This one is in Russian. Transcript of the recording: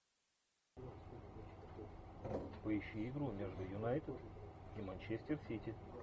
поищи игру между юнайтед и манчестер сити